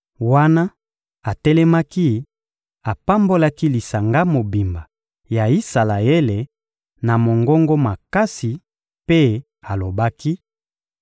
Wana atelemaki, apambolaki lisanga mobimba ya Isalaele na mongongo makasi mpe alobaki: